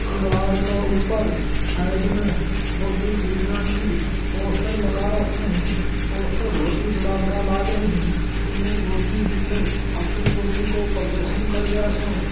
दिवार के ऊपर साइड में बॉडीबिल्डर की पोस्टर लगा राखे है पोस्टर बहुत बड़ा बड़ा लाग रहे है जिसमे बॉडीबिल्डर अपनी बॉडी काे प्रदर्शन कर रहिया से।